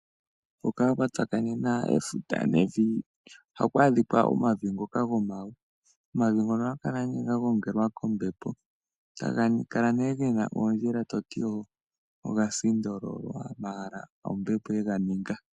Hika kwa tsakanena efuta nevi ohaku adhika omavi ngoka gomawe. Omavi ngono ohaga kala nee ga gongelwa kombepo, taga kala nee gena oondjila to ti oga sindololwa, hapo ombepo ye ga ninga.